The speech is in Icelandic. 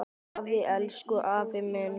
Afi, elsku afi minn.